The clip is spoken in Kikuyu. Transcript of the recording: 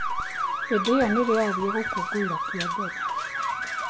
Hĩndĩ ĩyo nĩrĩo aathire gũkũngũĩra kĩa mbere.